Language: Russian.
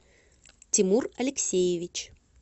тимур алексеевич